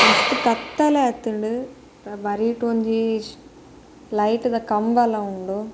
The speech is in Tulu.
ಮಸ್ತ್ ಕತ್ತಲೆ ಆತುಂಡು ಬರಿಟ್ ಒಂಜಿ ಲೈಟ್ದ ಕಂಬಲ ಉಂಡು.